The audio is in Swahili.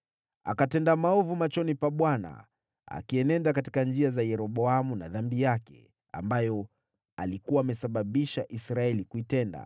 Akatenda maovu machoni pa Bwana , akienenda katika njia za Yeroboamu na dhambi yake, ambayo alikuwa amesababisha Israeli kuitenda.